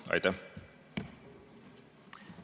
Aitäh!